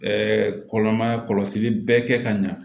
kɔlɔmaya kɔlɔsili bɛ kɛ ka ɲa